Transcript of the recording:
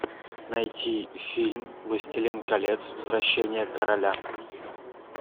найти фильм властелин колец возвращение короля